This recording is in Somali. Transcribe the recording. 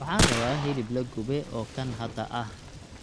waxan raba hilib lagube oo kan hada aah